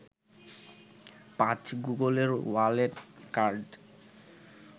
৫. গুগলের wallet card